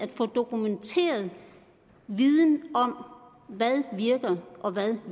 få dokumenteret viden om hvad der virker og hvad der